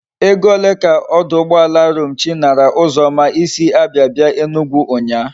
Ego ole ka oduugboala Romchi nara uzoma i si Abia bia Enugwu unya?